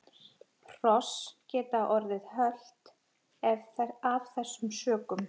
Hross geta orðið hölt af þessum sökum.